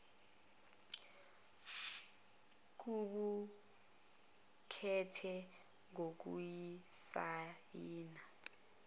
kuqu kethe ngokusisayina